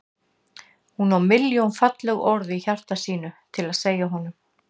Hún á milljón falleg orð í hjarta sínu til að segja honum.